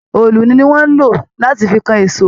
Òòlù ni wón ń lò láti fi kan ìṣọ́.